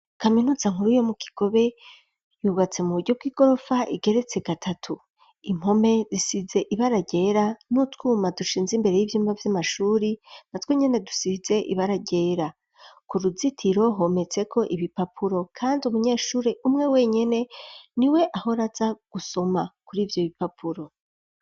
Kaminuza nkuru yo mu Kigobe yubatse mu buryo bw'igorofa igeretse gatatu. Impome zisize ibara ryera n'utwuma dushinze imbere y'ivyumba vy'amashure natwo nyene dusize ibara ryera. Ku ruzitiro hometse ko ibipapuro kandi umunyeshure umwe wenyene niwe ahora aza gusoma kuri ivyo bipapuro.